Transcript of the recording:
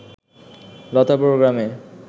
লতাবর গ্রামে